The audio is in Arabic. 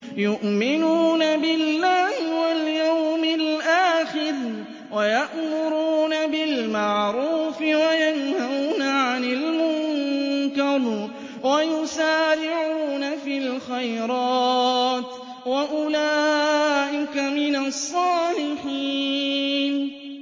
يُؤْمِنُونَ بِاللَّهِ وَالْيَوْمِ الْآخِرِ وَيَأْمُرُونَ بِالْمَعْرُوفِ وَيَنْهَوْنَ عَنِ الْمُنكَرِ وَيُسَارِعُونَ فِي الْخَيْرَاتِ وَأُولَٰئِكَ مِنَ الصَّالِحِينَ